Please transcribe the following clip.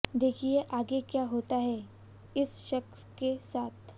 देखिए आगे क्या होता है इस शख्स के साथ